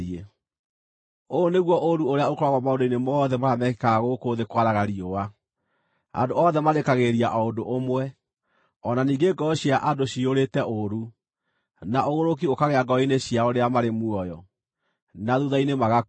Ũyũ nĩguo ũũru ũrĩa ũkoragwo maũndũ-inĩ mothe marĩa mekĩkaga gũkũ thĩ kwaraga riũa: Andũ othe marĩĩkagĩrĩria o ũndũ ũmwe. O na ningĩ ngoro cia andũ ciyũrĩte ũũru, na ũgũrũki ũkaagĩa ngoro-inĩ ciao rĩrĩa marĩ muoyo, na thuutha-inĩ magakua.